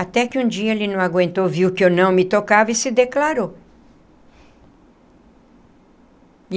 Até que um dia ele não aguentou, viu que eu não me tocava e se declarou.